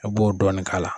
I b'o dɔɔnin k'a la